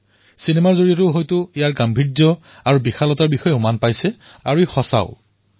চিনেমাতো কুম্ভ মেলাৰ ভব্যতা আৰু বিশালতাৰ বিষয়ে আপোনালোকে হয়তো দেখিছে আৰু এয়া সত্যও